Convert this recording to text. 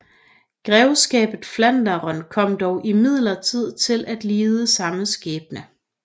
Grevskabet Flandern kom dog imidlertid til at lide samme skæbne